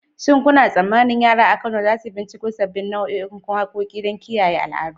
Shin kuna tsammanin yara a Kano za su binciko sabbin nau'ikan waƙoƙi don kiyaye al'adu?